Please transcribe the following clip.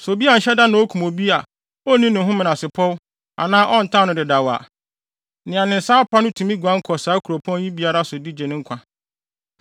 Sɛ obi anhyɛ da na okum obi a onni ne ho menasepɔw anaa ɔntan no dedaw a, nea ne nsa apa no tumi guan kɔ saa nkuropɔn yi biara so de gye ne ho nkwa.